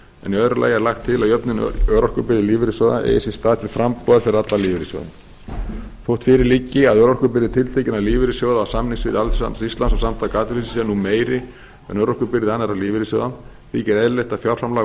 í öðru lagi er lagt til að jöfnun örorkubyrði lífeyrissjóða eigi sér til frambúðar fyrir alla lífeyrissjóða þótt fyrir liggi að örorkubyrði tiltekinna lífeyrissjóða á samningssviði alþýðusambands íslands og samtaka atvinnulífsins sé nú meiri en örorkubyrði annarra lífeyrissjóða þykir eðlilegt að fjárframlag úr